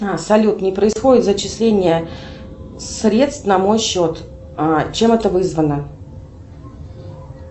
салют не происходит зачисление средств на мой счет чем это вызвано